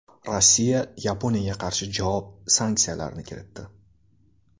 Rossiya Yaponiyaga qarshi javob sanksiyalarini kiritdi.